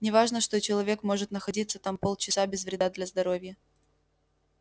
не важно что человек может находиться там полчаса без вреда для здоровья